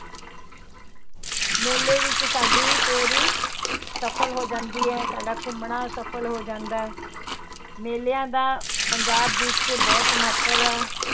ਮੇਲੇ ਵਿੱਚ ਸਾਡੀ ਫੇਰੀ ਸਫ਼ਲ ਹੋ ਜਾਂਦੀ ਹੈ, ਸਾਡਾ ਘੁੰਮਣਾ ਸਫ਼ਲ ਹੋ ਜਾਂਦਾ ਹੈ, ਮੇਲਿਆਂ ਦਾ ਪੰਜਾਬ ਵਿੱਚ ਬਹੁਤ ਮਹੱਤਵ ਹੈ।